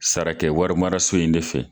Sarakɛ warimaraso in de fɛ.